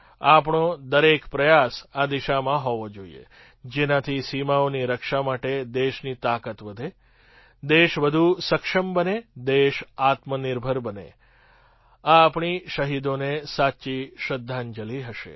આપણો દરેક પ્રયાસ આ દિશામાં હોવો જોઈએ જેનાથી સીમાઓની રક્ષા માટે દેશની તાકાત વધે દેશ વધુ સક્ષમ બને દેશ આત્મનિર્ભર બને આ આપણી શહીદોને સાચી શ્રદ્ધાંજલી હશે